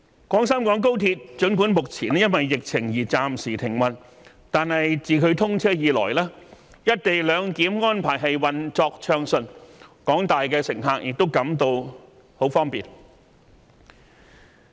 廣深港高鐵儘管目前因疫情而暫時停運，但自其通車以來"一地兩檢"安排運作暢順，廣大乘客都感到很方便。